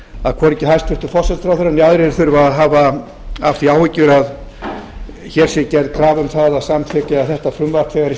að hvorki hæstvirtur forsætisráðherra né aðrir þurfa að hafa af því áhyggjur að hér sé gerð krafa um það að samþykkja þetta frumvarp þegar